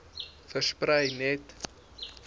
versprei net